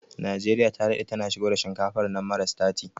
Najeriya ta daɗe tana shigo da shinkafar nan mara sitati